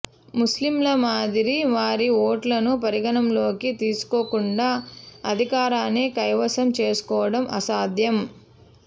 ముస్లింల మాదిరి వారి ఓట్లను పరిగణలోకి తీసుకోకుండా అధికారాన్ని కైవసం చేసుకోవడం అసాధ్యం